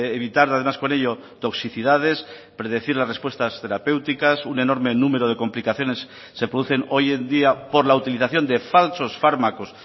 evitar además con ello toxicidades predecir las respuestas terapéuticas un enorme número de complicaciones se producen hoy en día por la utilización de falsos fármacos